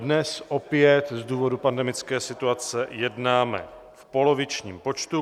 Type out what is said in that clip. Dnes opět z důvodu pandemické situace jednáme v polovičním počtu.